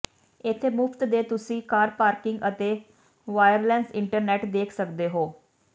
ਇੱਥੇ ਮੁਫਤ ਦੇ ਤੁਸੀਂ ਕਾਰ ਪਾਰਕਿੰਗ ਅਤੇ ਵਾਇਰਲੈੱਸ ਇੰਟਰਨੈੱਟ ਦੇਖ ਸਕਦੇ ਹੋ